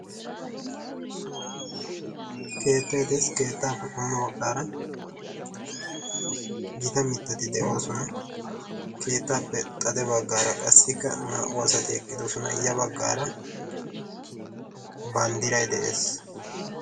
Keettay de"es keettaappe qommo baggaara gita mittati de'oosona. Keettaappe xade baggaara qassikka naa''u asati eqqidosona. Ya baggaara banddiray de'ees.